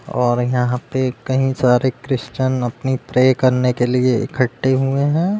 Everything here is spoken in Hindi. और यहाँ पे कई सारे क्रिश्चियन अपनी प्रे करने के लिए इकट्ठे हुए हैं।